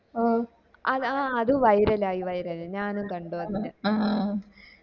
ഓഹ് ആ അത് viral ആയി viral ആയി ഞാനും കണ്ടു അങ്ങനെ